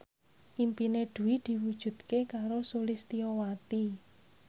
impine Dwi diwujudke karo Sulistyowati